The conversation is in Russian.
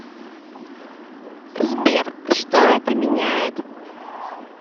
сбер что это меняет